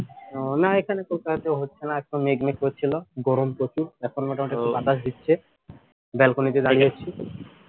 ও না এখানে তো হচ্ছে না এখন মেঘ মেঘ করছিল গরম প্রচুর এখন মোটামুটি বাতাস দিচ্ছে balcony তে দাঁড়িয়ে আছি